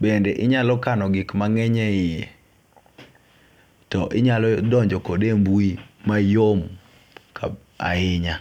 bende inyalo kano gik mang'eny e iye to inyalo donjo kode e mbui mayom kab ahinya